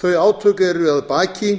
þau átök eru að baki